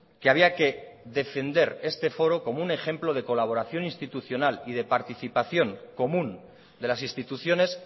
que había que defender este foro como un ejemplo de colaboración institucional y de participación común de las instituciones